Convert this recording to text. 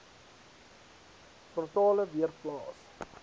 frontale weer plaas